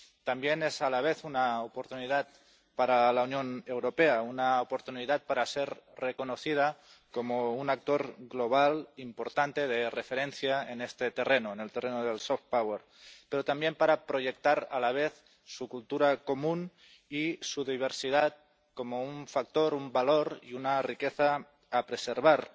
También es a la vez una oportunidad para la Unión Europea, una oportunidad para ser reconocida como un actor global importante de referencia en este terreno, en el terreno del pero también para proyectar a la vez su cultura común y su diversidad como un factor, un valor y una riqueza que se ha de preservar